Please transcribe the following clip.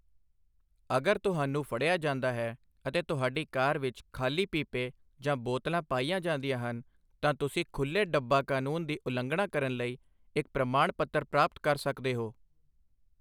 ਅਗਰ ਤੁਹਾਨੂੰ ਫੜਿਆ ਜਾਂਦਾ ਹੈ ਅਤੇ ਤੁਹਾਡੀ ਕਾਰ ਵਿੱਚ ਖ਼ਾਲੀ ਪੀਪੇ ਜਾਂ ਬੋਤਲਾਂ ਪਾਈਆਂ ਜਾਂਦੀਆਂ ਹਨ, ਤਾਂ ਤੁਸੀਂ ਖੁੱਲ੍ਹੇ ਡੱਬਾ ਕਾਨੂੰਨ ਦੀ ਉਲੰਘਣਾ ਕਰਨ ਲਈ ਇੱਕ ਪ੍ਰਮਾਣ ਪੱਤਰ ਪ੍ਰਾਪਤ ਕਰ ਸਕਦੇ ਹੋ।